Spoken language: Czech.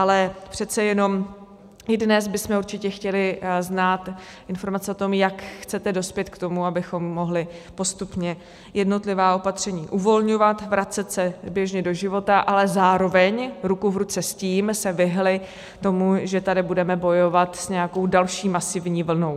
Ale přece jenom i dnes bychom určitě chtěli znát informace o tom, jak chcete dospět k tomu, abychom mohli postupně jednotlivá opatření uvolňovat, vracet se běžně do života, ale zároveň ruku v ruce s tím se vyhnuli tomu, že tady budeme bojovat s nějakou další masivní vlnou.